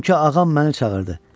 Çünki ağam məni çağırdı.